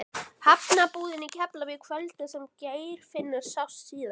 Hafnarbúðina í Keflavík kvöldið sem Geirfinnur sást síðast.